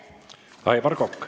Aivar Kokk.